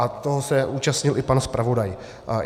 A toho se účastnil i pan zpravodaj.